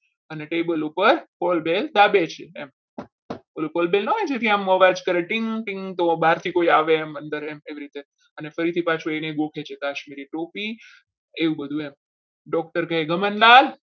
અને table ઉપર એમ પેલું બોલબેલ ના હોય જે અવાજ કરતું team team બહારથી કોઈ આવે અંદર એમ એવી રીતે પાછું એમ ફરીથી એને ગોખે છે. કાશ્મીરી ટોપી એવું બધું એમ doctor કહે જમાદાર.